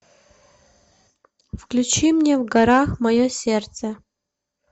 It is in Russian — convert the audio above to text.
включи мне в горах мое сердце